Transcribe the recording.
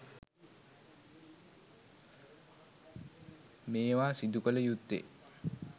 මේවා සිදුකළ යුත්තේ